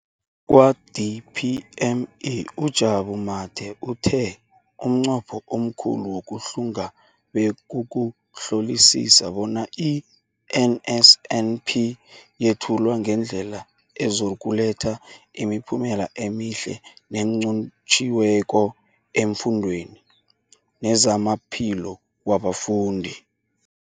Kwa-DPME, uJabu Mathe, uthe umnqopho omkhulu wokuhlunga bekukuhlolisisa bona i-NSNP yethulwa ngendlela ezokuletha imiphumela emihle nenqotjhiweko efundweni nezamaphilo wabafundi.